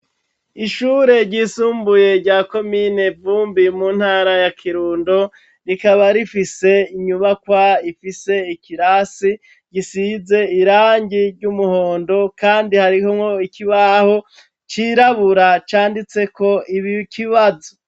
Ishure ryisumbuye rya komine Vumbi mu ntara ya Kirundo, rikaba rifise inyubakwa ifise ikirasi gisize irangi ry'umuhondo kandi harimwo ikibaho cirabura canditseko ibi kibazo.